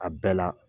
A bɛɛ la